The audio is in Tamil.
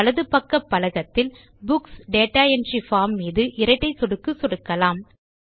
பின் வலது பக்க பலகத்தில் புக்ஸ் டேட்டா என்ட்ரி பார்ம் மீதும் இரட்டை சொடுக்கு சொடுக்கலாம்